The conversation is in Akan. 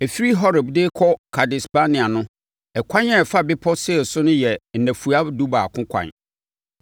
Ɛfiri Horeb de kɔ Kades-Barnea no, ɛkwan a ɛfa bepɔ Seir no yɛ nnafua dubaako kwan.